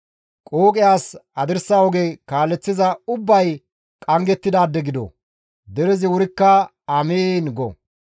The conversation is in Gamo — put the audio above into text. «Qooqe as hadirsa oge kaaleththiza ubbay qanggettidaade gido!» Derezi wurikka, «Amiin!» go.